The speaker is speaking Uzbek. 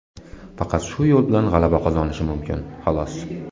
Faqat shu yo‘l bilan g‘alaba qozonishi mumkin, xolos.